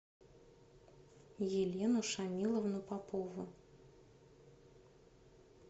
елену шамиловну попову